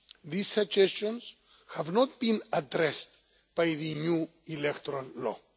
These suggestions have not been addressed by the new electoral law.